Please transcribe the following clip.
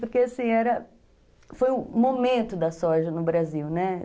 Porque assim, era, foi o momento da soja no Brasil, né?